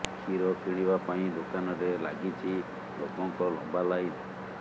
କ୍ଷୀର କିଣିବା ପାଇଁ ଦୋକାନରେ ଲାଗିଛି ଲୋକଙ୍କ ଲମ୍ବା ଲାଇନ୍